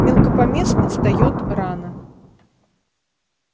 мелкопоместный встаёт рано